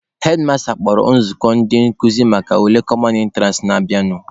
Hedmasta kpọrọ nzukọ ndị nkụzi maka ule "common entrance" na-abịanụ.